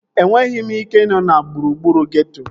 Enweghị m ike ị nọ na gburugburu geeto